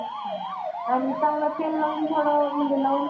आणि चांगल तेल लावून थोडं म्हणजे लवंग